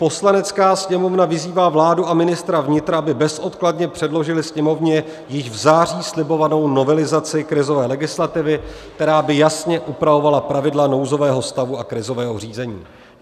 "Poslanecká sněmovna vyzývá vládu a ministra vnitra, aby bezodkladně předložili Sněmovně již v září slibovanou novelizaci krizové legislativy, která by jasně upravovala pravidla nouzového stavu a krizového řízení."